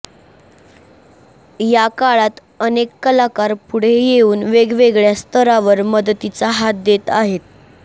याकाळात अनेक कलाकार पुढे येऊन वेगवेगळ्या स्तरावर मदतीचा हात देत आहेत